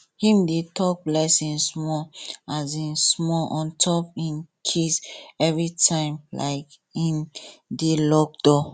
him dey talk blessing small um small on top him keys everytime um him dey lock door